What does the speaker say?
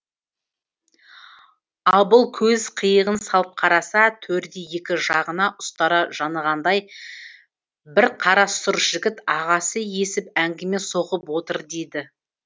абыл көз қиығын салып қараса төрде екі жағына ұстара жанығандай бір қара сұр жігіт ағасы есіп әңгіме соғып отыр дейді